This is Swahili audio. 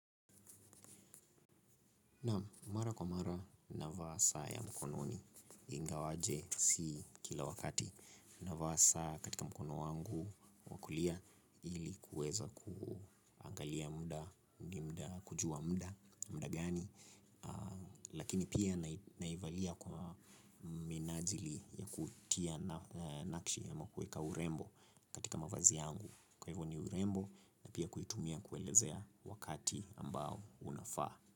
Naam, mara kwa mara navaa saa ya mkononi ingawa si kila wakati. Naivaa katika mkono wangu wa kulia ili kuweza kuangalia muda, kujua muda gani. Lakini pia naivaa kwa minajili ya kutia nakshi na kuweka urembo katika mavazi yangu. Kwa hivyo ni urembo na pia kuitumia kuelezea wakati ambao unafaa.